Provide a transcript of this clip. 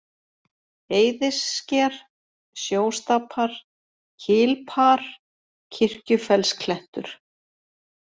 Eiðissker, Sjóstapar, Kilpar, Kirkjufellsklettur